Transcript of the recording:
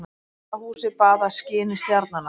Gamla húsið baðað skini stjarnanna.